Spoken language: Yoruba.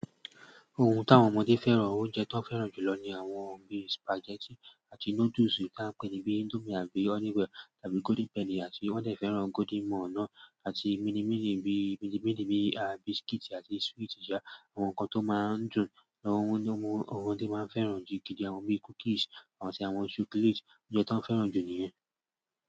Ohun tí àwọn ọmọdé fẹ́ràn, oúnjẹ tó fẹ́ràn jùlọ ni àwọn bí spaghetti àti noodles tí a ń pè ní bí Indomie àbí Honey Well tàbí Golden Penny àti wọ́n fẹ́ràn Golden Morning àti midi midi bí midi midi bí àti biscuit àti sweet sa, àwọn nǹkan tó máa ń dùn, àwọn ohun tí ọmọdé máa ń fẹ́ràn gidi gidi, àwọn bí cookies àti àwọn chocolate, oúnjẹ tó fẹ́ràn jù ni yẹn.